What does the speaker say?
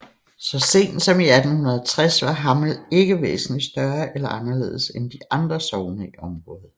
Så sent som i 1860 var Hammel ikke væsentligt større eller anderledes end de andre sogne i området